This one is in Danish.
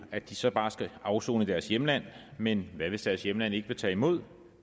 at de så bare skal afsone i deres hjemland men hvad hvis deres hjemland ikke vil tage imod